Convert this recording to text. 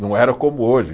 Não era como hoje.